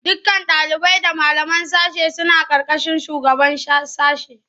Dukkan ɗalibai da malaman sashe suna ƙarƙashin shugaban sashe.